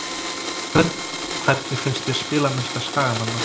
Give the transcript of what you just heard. Hvernig finnst þér spilamennska Skagamanna?